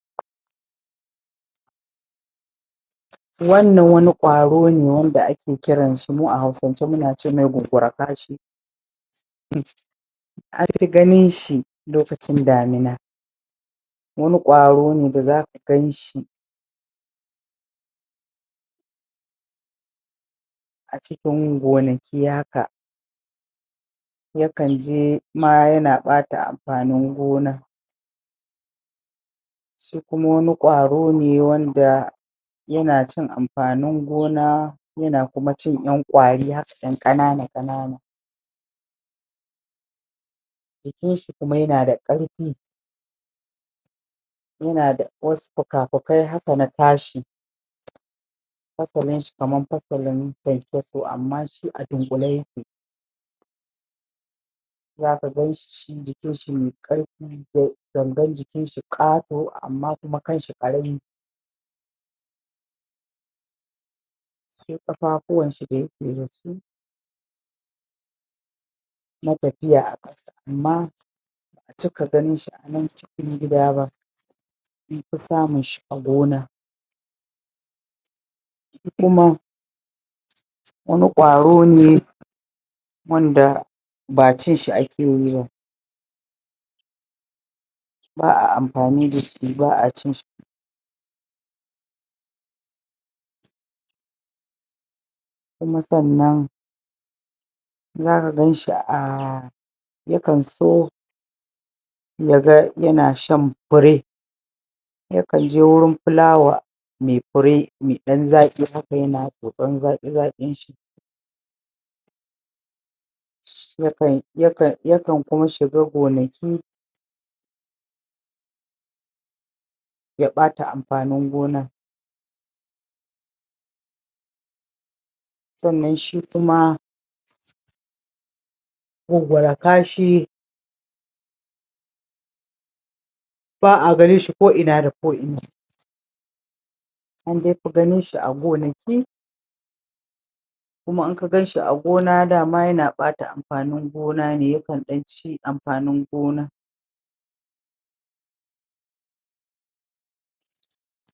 Wannan wani ƙwaro ne wanda ake kiran shi mu a Hausance muna ce mai gungura kashi an fi ganin shi lokacin damina wani ƙwaro ne da zaka gan shi a cikin gonaki haka yakan je ma yana ɓata amfanin gona shi kuma wani ƙwaro ne wanda yana cin amfanin gona, yana kuma cin ƴan ƙwari haka ƴan ƙanana-ƙanana jikin shi kuma yana da ƙarfi yana da wasu fuka-fukai haka na tashi fasalin shi kaman fasalin kyankyaso amma shi a dunƙule yake zaka gan shi shi jikin shi me ƙarfi gangan jikin shi ƙato amma kuma kan shi ƙarami sai ƙafafuwan shi da yake da su na tafiya amma ba'a cika ganin shi a nan cikin gida ba an fi samun shi a gona kuma wani ƙwaro ne wanda ba cin shi ake yi ba ba'a amfani da shi ba'a cin shi kuma sannan zaka gan shi a ya kan so ya ga yana shan fure ya kan je wurin fulawa me fure me ɗan zaƙi haka yana tsotson zaƙi-zaƙin shi ya kan kuma shiga gonaki ya ɓata amfanin gona sannan shi kuma gungura kashi ba'a ganin shi ko'ina da ko'ina an dai fi ganin shi a gonaki kuma in ka gan shi a gona dama yana ɓata amfanin gona ne ya kan ɗan ci amfanin gona.